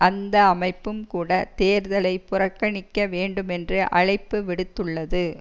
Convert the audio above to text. அந்த அமைப்பும் கூட தேர்தலை புறக்கணிக்க வேண்டுமென்று அழைப்பு விடுத்துள்ளது